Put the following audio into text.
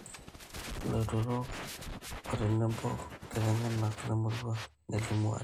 illautotarok otenebo illaitengeni lemurrua nelimu ate